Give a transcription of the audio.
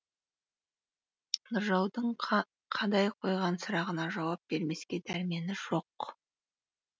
нұржаудың қадай қойған сұрағына жауап бермеске дәрмені жоқ